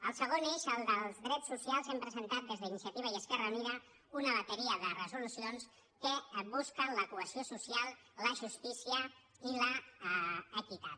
el segon eix el dels drets socials hem presentat des d’iniciativa i esquerra unida una bateria de resoluci·ons que busquen la cohesió social la justícia i l’equi·tat